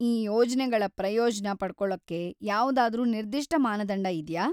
ಈ ಯೋಜ್ನೆಗಳ ಪ್ರಯೋಜ್ನ ಪಡ್ಕೊಳಕ್ಕೆ ಯಾವ್ದಾದ್ರೂ ನಿರ್ದಿಷ್ಟ ಮಾನದಂಡ ಇದ್ಯಾ?